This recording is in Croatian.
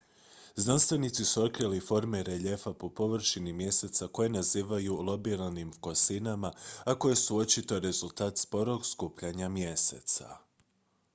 znanstvenici su otkrili forme reljefa po površini mjeseca koje nazivaju lobiranim kosinama a koje su očito rezultat sporog skupljanja mjeseca